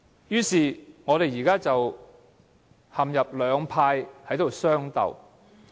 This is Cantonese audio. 如是者，我們兩派便陷入相鬥。